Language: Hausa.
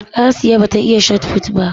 Asiya ba ta iya Shotput ba